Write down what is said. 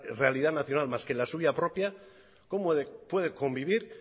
realidad nacional más que la suya propia cómo puede convivir